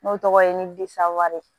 N'o tɔgɔ ye nidiswari